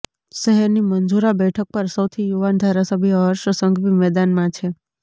શહેરની મંજૂરા બેઠક પર સૌથી યુવાન ધારાસભ્ય હર્ષ સંઘવી મેદાનમાં છે